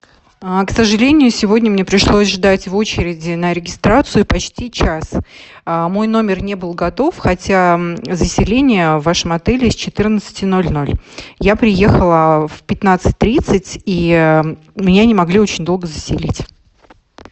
к сожалению сегодня мне пришлось ждать в очереди на регистрацию почти час мой номер не был готов хотя заселение в вашем отеле с четырнадцати ноль ноль я приехала в пятнадцать тридцать и меня не могли очень долго заселить